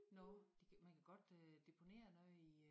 Nå det man kan godt øh deponere noget i øh